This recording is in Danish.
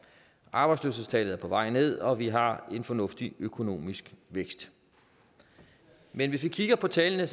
arbejdsløshedstallet er på vej ned og vi har en fornuftig økonomisk vækst men hvis vi kigger på tallene